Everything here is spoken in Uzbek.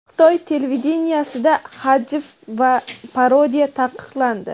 Xitoy televideniyesida hajv va parodiya taqiqlandi.